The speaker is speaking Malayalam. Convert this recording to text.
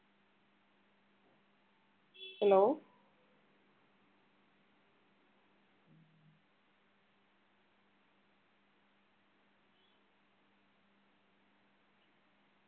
hello